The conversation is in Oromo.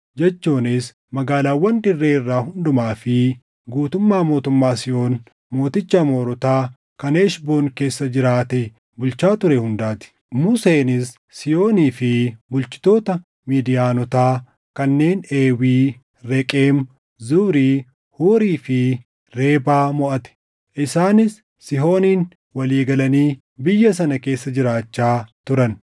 jechuunis magaalaawwan dirree irraa hundumaa fi guutummaa mootummaa Sihoon mooticha Amoorotaa kan Heshboon keessa jiraatee bulchaa ture hundaa ti. Museenis Sihoonii fi bulchitoota Midiyaanotaa kanneen Eewii, Reqem, Zuuri, Huurii fi Rebaa moʼate; isaanis Sihooniin walii galanii biyya sana keessa jiraachaa turan.